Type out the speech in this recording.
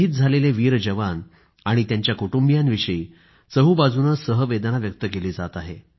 शहीद झालेले वीर जवान आणि त्यांच्या कुटुंबियांविषयी चोहोबाजूनं सहवेदना व्यक्त केली जात आहे